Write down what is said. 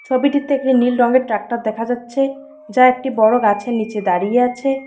ছবিটিতে একটি নীল রঙের ট্রাক্টার দেখা যাচ্ছে যা একটি বড়ো গাছের নিচে দাঁড়িয়ে আছে।